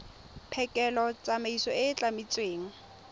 phekolo tsamaiso e e tlametsweng